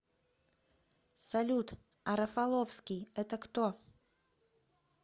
салют а рафаловский это кто